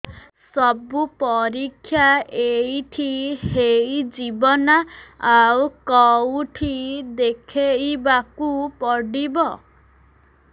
ସବୁ ପରୀକ୍ଷା ଏଇଠି ହେଇଯିବ ନା ଆଉ କଉଠି ଦେଖେଇ ବାକୁ ପଡ଼ିବ